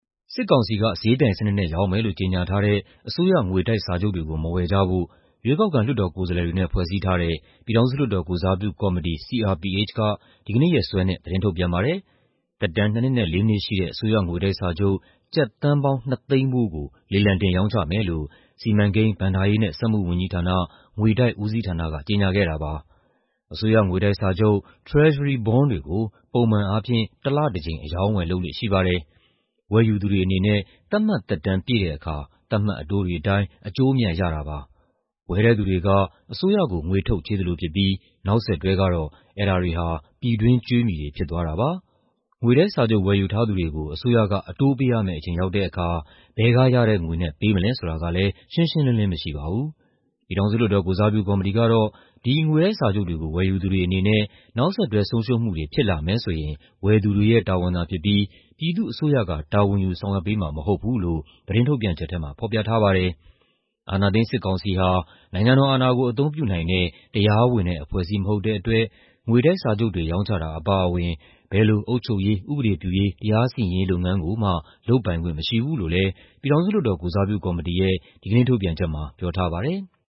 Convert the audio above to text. စစ်ကောင်စီက ဈေးပြိုင်စနစ်နဲ့ရောင်းမယ်လို့ ကြေညာထားတဲ့ အစိုးရ ငွေတိုက်စာချုပ်တွေကို မဝယ်ကြဖို့ ရွေးကောက်ခံ လွှတ်တော်ကိုယ်စားလှယ်တွေနဲ့ ဖွဲ့စည်းထားတဲ့ ပြည်ထောင်စုလွှတ်တော်ကိုယ်စားပြုကော်မတီ (CRPH) က ဒီကနေ့ရက်စွဲနဲ့ သတင်းထုတ်ပြန်ပါတယ်။ သက်တမ်း ၂ နှစ်နဲ့ ၄ နှစ်ရှိတဲ့ အစိုးရငွေတိုက်စာချုပ် ကျပ်သန်းပေါင်း ၂၀၀,၀၀၀ ဖိုးကို လေလံတင် ရောင်းမယ်လို့ စီမံကိန်း၊ ဘဏ္ဍာရေးနဲ့ စက်မှုဝန်ကြီးဌာန၊ ငွေတိုက်ဦးစီးဌာနက ကြေညာခဲ့တာပါ။ အစိုးငွေတိုက်စာချုပ် (Treasury Bond) တွေကို ပုံမှန်အားဖြင့် တလတကြိမ် အရောင်းအဝယ် လုပ်လေ့ရှိပါတယ်။ ဝယ်ယူသူတွေအနေနဲ့ သတ်မှတ်သက်တမ်းပြည့်တဲ့အခါ သတ်မှတ်အတိုးတွေအတိုင်း အကျိုးအမြတ် ရတာဖြစ်ပါတယ်။ ဝယ်တဲ့သူတွေက အစိုးရကို ငွေထုတ်ချေးသလိုဖြစ်ပြီး နောက်ဆက်တွဲကတော့ အဲဒါတွေဟာ ပြည်တွင်းကြွေးမြီတွေ ဖြစ်သွားတာပါ။ ငွေတိုက်စာချုပ် ဝယ်ယူထားသူတွေကို အစိုးရက အတိုးပေးရမယ့်အချိန် ရောက်တဲ့အခါ ဘယ်ကရတဲ့ငွေနဲ့ ပေးမလဲဆိုတာကလည်း ရှင်းရှင်းလင်းလင်း မရှိပါဘူး။ ပြည်ထောင်စု လွှတ်တော်ကိုယ်စားပြုကော်မတီကတော့ ဒီငွေတိုက်စာချုပ်တွေကို ဝယ်ယူသူတွေအနေနဲ့ နောက်ဆက်တွဲဆုံးရှုံးမှုတွေ ဖြစ်လာမယ်ဆိုရင် ဝယ်သူတွေရဲ့တာဝန်သာဖြစ်ပြီး ပြည်သူ့အစိုးရက တာဝန်ယူဆောင်ရွက်ပေးမှာ မဟုတ်ဘူးလို့ သတင်းထုတ်ပြန်ချက်ထဲမှာ ဖော်ပြထားပါတယ်။ "အာဏာသိမ်း စစ်ကောင်စီဟာ နိုင်ငံတော်အာဏာကို အသုံးပြုနိုင်တဲ့ တရားဝင်တဲ့ အဖွဲ့အစည်း မဟုတ်တဲ့အတွက် ငွေတိုက်စာချုပ်တွေ ရောင်းချတာအပါအဝင် ဘယ်လို အုပ်ချုပ်ရေး၊ ဥပဒေပြုရေး၊ တရားစီရင်ရေးလုပ်ငန်းကိုမှ လုပ်ပိုင်ခွင့်မရှိဘူး။" လို့လည်း ပြည်ထောင်စုလွှတ်တော်ကိုယ်စားပြုကော်မတီရဲ့ ဒီကနေ့ထုတ်ပြန်ချက်မှာ ပြောထားပါတယ်။